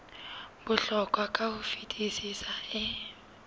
bohlokwa ka ho fetisisa e